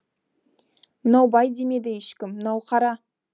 мынау бай демеді ешкім мынау қара